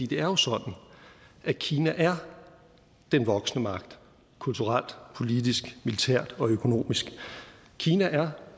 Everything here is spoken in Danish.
det er jo sådan at kina er den voksende magt kulturelt politisk militært og økonomisk kina er